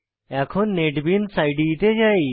এখন NetBeans IDE তে যাই